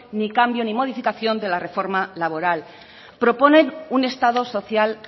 ni cambio ni modificación de la reforma laboral proponen un estado social